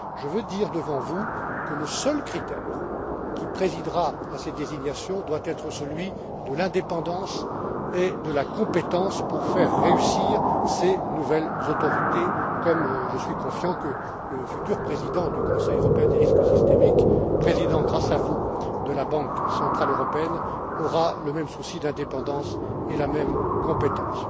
Je veux dire devant vous que le seul critère qui présidera à ces désignations doit être celui de l'indépendance et de la compétence pour faire réussir ces nouvelles autorités, comme je suis confiant que le futur président du comité européen du risque systémique, président grâce à vous, de la Banque centrale européenne, aura le même souci d'indépendance et la même compétence.